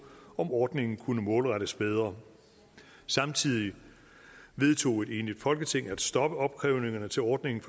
om ordningen kunne målrettes bedre samtidig vedtog et enigt folketing at stoppe opkrævningerne til ordningen